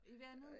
I vandet?